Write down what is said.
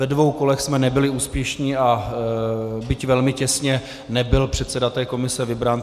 Ve dvou kolech jsme nebyli úspěšní, a byť velmi těsně, nebyl předseda té komise vybrán.